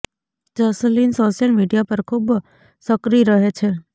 Jasleen social media પર ખૂબ સક્રિય રહે છે